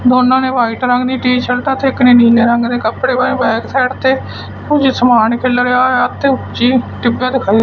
ਦੋਨਾਂ ਨੇ ਵਾਈਟ ਰੰਗ ਦੀ ਟੀ ਸ਼ਰਟਾਂ ਤੇ ਇਕ ਨੇ ਨੀਲੇ ਰੰਗ ਦੇ ਕੱਪੜੇ ਪਾਏ ਹੋਏ ਬੈਕ ਸਾਈਡ ਤੇ ਕੁਝ ਸਮਾਨ ਖਿੱਲਰਿਆ ਹੋਇਆ ਤੇ ਉੱਚੇ ਟਿੱਬੇ ਤੇ ਖੜੇ।